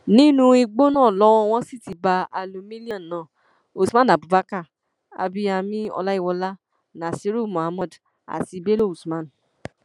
nínú igbó náà lowó wọn sì ti bá aliu milliona usman abubakar abiyami ọláyíwọlá nasiru muhammed àti bello usman